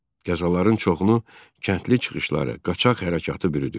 Qəzaların çoxunu kəndli çıxışları, qaçaq hərəkatı bürüdü.